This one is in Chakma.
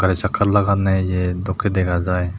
gari sakka laganne ye dokke dega jai.